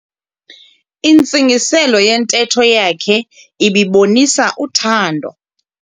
Intsingiselo yentetho yakhe ibibonisa uthando.